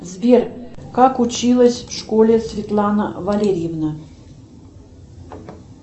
сбер как училась в школе светлана валерьевна